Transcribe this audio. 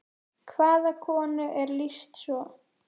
Hvaða konu er lýst svo?